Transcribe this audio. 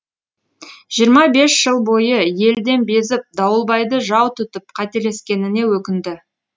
жиырма бес жыл бойы елден безіп дауылбайды жау тұтып қателескеніне өкінді